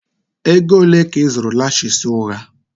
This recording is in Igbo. Ego ole ka ị zụrụ lashes ụgha?